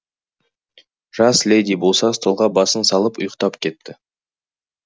жас леди болса столға басын салып ұйықтап кетті